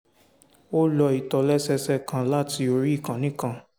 ó lo ìtòlẹ́sẹẹsẹ kan láti orí ìkànnì kan